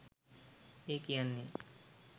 ඒ කියන්නෙ